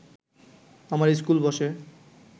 আমার ইস্কুল বসে